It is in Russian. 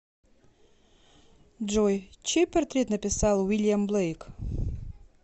джой чей портрет написал уильям блейк